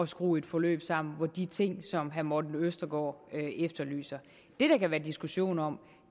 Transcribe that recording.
skrue et forløb sammen med de ting som herre morten østergaard efterlyser det der kan være diskussion om